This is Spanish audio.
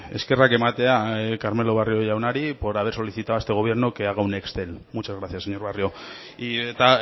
eskerrak ematea carmelo barrio jaunari por haber solicitado a este gobierno que haga un excel muchas gracias señor barrio eta